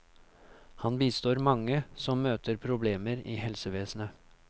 Han bistår mange som møter problemer i helsevesenet.